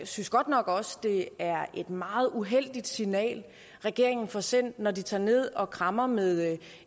synes godt nok også at det er meget uheldigt signal regeringen får sendt når de tager ned og krammer med